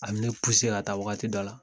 An bɛ ne ka taa waati dɔ la.